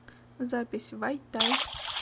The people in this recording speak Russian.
запись вай тай